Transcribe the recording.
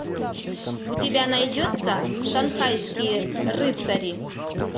у тебя найдется шанхайские рыцари